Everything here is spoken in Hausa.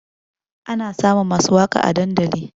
Ana samun masu waƙa a dandali